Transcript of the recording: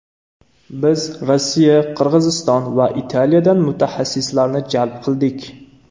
Biz Rossiya, Qirg‘izston va Italiyadan mutaxassislarni jalb qildik.